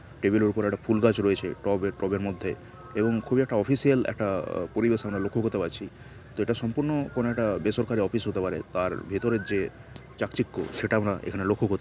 Table এর ওপর একটা ফুল গাছ রয়েছে টবের টব এর মধ্যে এবং খুব একটা অফিসিয়াল একটা-আ পরিবেশ আমরা লক্ষ্য করতে পারছি। যেটা সম্পূর্ণ কোন একটা বেসরকারি অফিস হতে পারে তার ভিতরের যে চাকচিক্য সেটা আমরা এখানে লক্ষ্য কর--